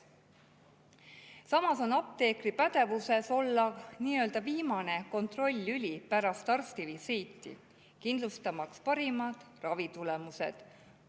Samas on apteekrid nii-öelda viimane kontroll-lüli pärast arstivisiiti, kindlustamaks parimad ravitulemused.